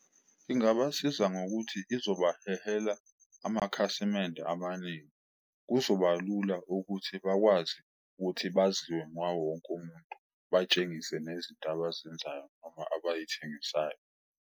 Ingabasiza ngokuthi izobahehela amakhasimende amaningi, kuzoba lula ukuthi bakwazi ukuthi baziwe ngawo wonke umuntu. Batshengise nezinto abazenzayo noma abayithengisayo.